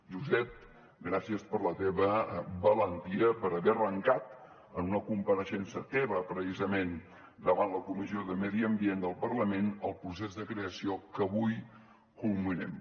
josep gràcies per la teva valentia per haver arrencat en una compareixença teva precisament davant la comissió de medi ambient del parlament el procés de creació que avui culminem